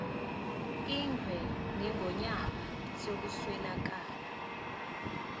ingwe nengonyama sekuswelakala